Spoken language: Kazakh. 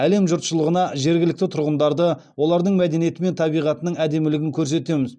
әлем жұртшылығына жергілікті тұрғындарды олардың мәдениеті мен табиғатының әдемілігін көрсетеміз